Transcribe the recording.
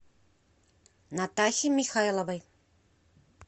натахе михайловой